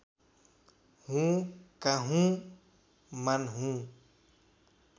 हुँ काहुँ मान्हुँ